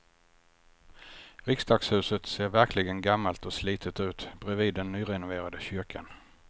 Riksdagshuset ser verkligen gammalt och slitet ut bredvid den nyrenoverade kyrkan.